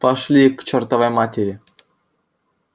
пошли их к чёртовой матери